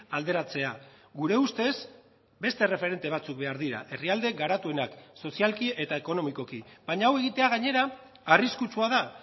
alderatzea gure ustez beste erreferente batzuk behar dira herrialde garatuenak sozialki eta ekonomikoki baina hau egitea gainera arriskutsua da